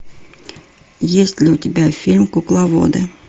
есть ли у тебя фильм кукловоды